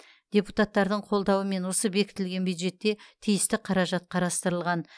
депутаттардың қолдауымен осы бекітілген бюджетте тиісті қаражат қарастырылған